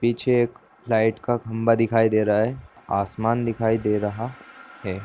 पीछे एक लाइट का खंभा दिखाई दे रहा है आसमान दिखाई दे रहा है।